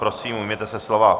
Prosím, ujměte se slova.